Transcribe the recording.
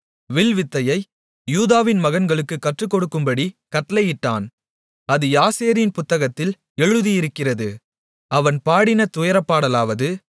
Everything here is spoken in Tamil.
வில்வித்தையை யூதாவின் மகன்களுக்குக் கற்றுக்கொடுக்கும்படிக் கட்டளையிட்டான் அது யாசேரின் புத்தகத்தில் எழுதியிருக்கிறது அவன் பாடின துயரப்பாடலாவது